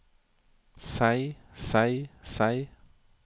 seg seg seg